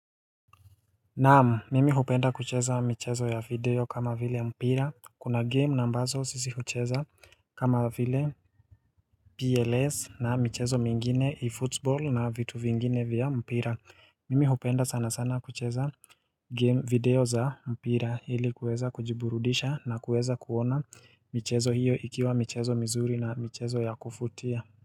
Naam, mimi hupenda kucheza michezo ya video kama vile mpira. Kuna game ambazo sisi hucheza kama vile PLS na michezo mingine e-football na vitu vingine vya mpira. Mimi hupenda sana sana kucheza game video za mpira ili kuweza kujiburudisha na kuweza kuona michezo hiyo ikiwa michezo mizuri na michezo ya kufutia.